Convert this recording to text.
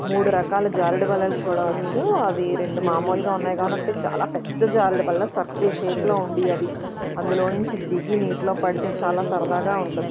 మూడు రకాల జారుడు బల్లలు చూడవచ్చు ఆది రెండు మామూలుగా ఉన్నాయి కావున ఒకటి చాలా పెద్ద జారుడు బల్ల సర్కిల్ షేప్ లో ఉంది ఆది అందులో నుంచి దిగి నీటిలో పడితే చాలా సరదాగా ఉంటుంది.